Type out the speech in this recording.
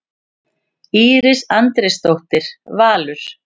Íris Andrésdóttir, Valur.